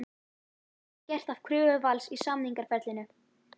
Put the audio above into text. En var það gert að kröfu Vals í samningaferlinu?